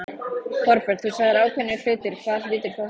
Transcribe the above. Þorbjörn: Þú sagðir ákveðnir hlutir, hvaða hluti þá helst?